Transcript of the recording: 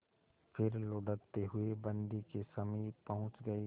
फिर लुढ़कते हुए बन्दी के समीप पहुंच गई